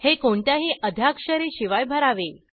हे कोणत्याही आद्याक्षरे शिवाय भरावे